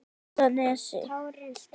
Naustanesi